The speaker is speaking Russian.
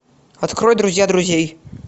открой друзья друзей